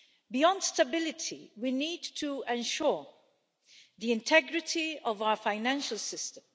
Beyond stability, we need to ensure the integrity of our financial system.